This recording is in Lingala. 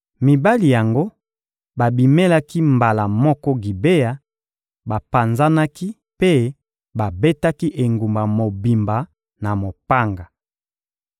Mibali yango babimelaki mbala moko Gibea, bapanzanaki mpe babetaki engumba mobimba na mopanga.